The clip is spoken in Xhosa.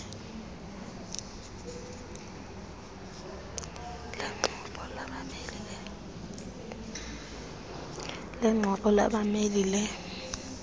lengxoxo labameli le